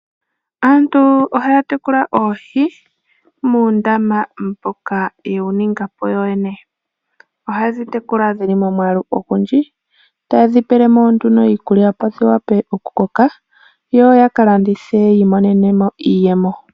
Aantu ohaya tekula oohi, muundama mboka ye wu ninga po yoyene. Ohaye dhi tekula dhi li momwaalu ogundji, etaye dhi pele mo nduno iikulya dhi vule okukoka, yo ya ka landithe ya vule okwiimonena mo iiyemo.